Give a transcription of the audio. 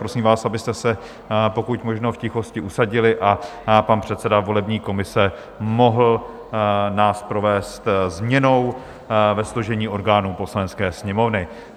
Prosím vás, abyste se pokud možno v tichosti usadili a pan předseda volební komise nás mohl provést změnou ve složení orgánů Poslanecké sněmovny.